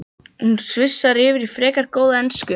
Hún svissar yfir í frekar góða ensku